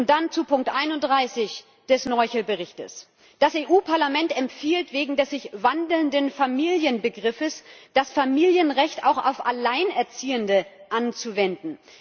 Und dann zu Ziffer 31 des Noichl Berichts Das EU Parlament empfiehlt, wegen des sich wandelnden Familienbegriffs das Familienrecht auch auf Alleinerziehende anzuwenden.